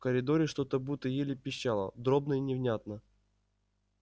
в коридоре что-то будто еле пищало дробно и невнятно